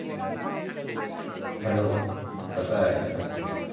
hello कसा आहे? विशाल.